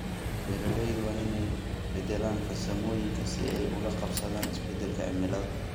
Beeraleydu waa inay beddelaan farsamooyinkooda si ay ula qabsadaan isbeddelka cimilada.